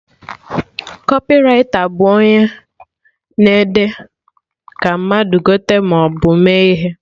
Kọpịraita bụ onye na-ede ka mmadụ gote ihe maọbụ mee ihe